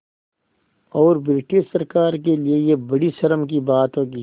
और ब्रिटिश सरकार के लिये यह बड़ी शर्म की बात होगी